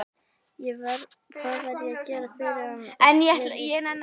Það verði ég að gera fyrir hann og fyrir ykkur!